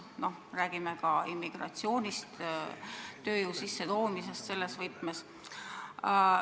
Me räägime ka immigratsioonist, tööjõu sissetoomisest selles võtmes.